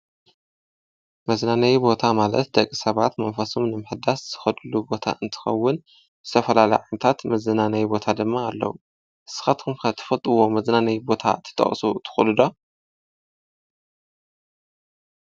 መዝናነይ ቦታ ማለት ደቂ ሰባት መንፈሶም ንምሕዳስ ዝኸድሉ ቦታ እንትኸዉን ዝተፈላለዩ ዓይነታት መዝናነዪ ቦታድማ ኣለዉ፡፡ ንስኻትኩም ከ መዝናነዪ ቦታ ትጠቅሱ ትክእሉ ዶ?